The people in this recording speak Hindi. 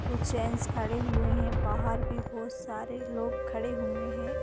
कुछ जेन्स खड़े हुए है बाहर भी बहोत सारे लोग खड़े हुए है।